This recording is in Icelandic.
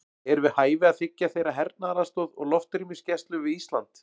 Er við hæfi að þiggja þeirra hernaðaraðstoð og loftrýmisgæslu við Ísland?